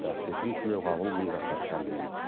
әріптесім тлеуғабыл мыңжасар әңгімелейді